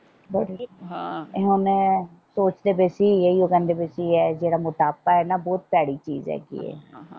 ਹੁਣ ਸੋਚਦੇ ਪਏ ਸੀ ਇਹੀਓ ਕਹਿੰਦੇ ਪਏ ਸੀ ਕਿ ਇਹ ਜਿਹੜਾ ਮੋਟਾਪਾ ਏ ਨਾ ਬਹੁਤ ਭੈੜੀ ਚੀਜ ਹੈਗੀ ਏ।